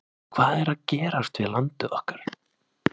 Hvað er að gerast við landið okkar?